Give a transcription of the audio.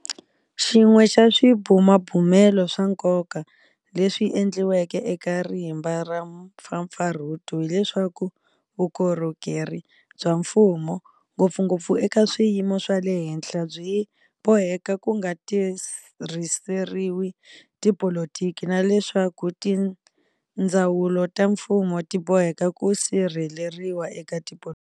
Xin'we xa swibumabumelo swa nkoka leswi endliweke eka rimba ra mpfapfarhuto hi leswaku vukorhokeri bya mfumo, ngopfungopfu eka swiyimo swa le henhla byi boheka ku nga tirhiseriwi tipolitiki na leswaku tindzawulo ta mfumo ti boheka ku sirheleriwa eka tipolitiki.